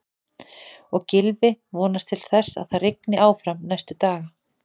Og Gylfi vonast til þess að það rigni áfram næstu daga?